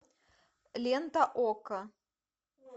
лента окко